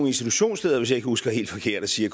institutionsledere hvis jeg ikke husker helt forkert og siger